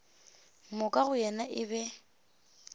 moka go yena e be